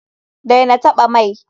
Daina taɓa mai!